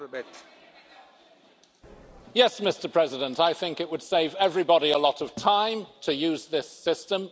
Mr President, yes, I think it would save everybody a lot of time to use this system.